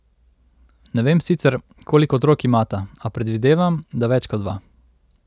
Ne vem sicer, koliko otrok imata, a predvidevam, da več kot dva.